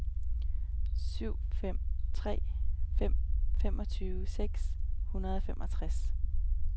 syv fem tre fem femogtyve seks hundrede og femogtres